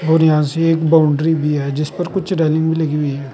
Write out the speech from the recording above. और यहां से एक बाउंड्री भी है जिस पर कुछ रेलिंग भी लगी हुई है।